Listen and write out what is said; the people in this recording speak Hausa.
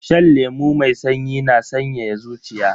Shan lemu mai sanyi na sanyaya zuciya.